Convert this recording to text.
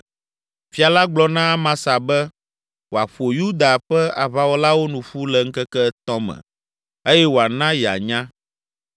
Fia la gblɔ na Amasa be wòaƒo Yuda ƒe aʋawɔlawo nu ƒu le ŋkeke etɔ̃ me eye wòana yeanya.